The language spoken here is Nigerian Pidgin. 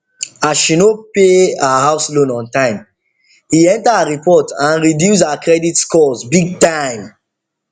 as she no pay her house loan on time e enter her report and reduce her credit scores big time